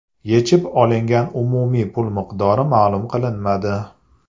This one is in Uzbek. Yechib olingan umumiy pul miqdori ma’lum qilinmadi.